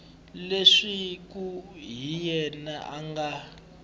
leswaku hi yena a nga